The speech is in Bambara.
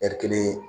Ɛri kelen